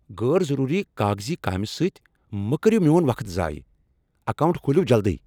غٲر ضروری کاغذی کامہِ سۭتۍ مَہ کٔرِو میون وقت ضایع۔ کاونٹ کھولِو جلدی!